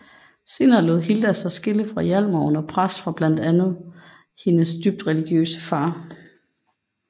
Senere lod Hilda sig skille fra Hjalmar under pres fra blandt andre hendes dybt religiøse far